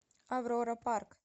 аврора парк